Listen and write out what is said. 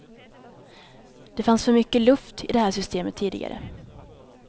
Det fanns för mycket luft i det här systemet tidigare.